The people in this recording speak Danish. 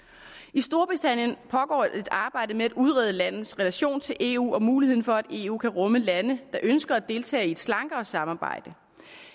i storbritannien pågår et arbejde med at udrede landets relation til eu og muligheden for at eu kan rumme lande der ønsker at deltage i et slankere samarbejde